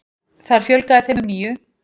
Þar fjölgaði þeim um níu.